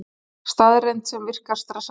Staðreynd sem virkar stressandi.